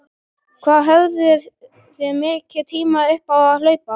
Hvað höfðuð þið mikinn tíma upp á að hlaupa?